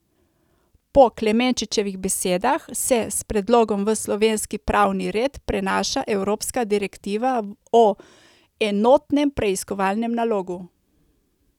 Po Klemenčičevih besedah se s predlogom v slovenski pravni red prenaša evropska direktiva o enotnem preiskovalnem nalogu.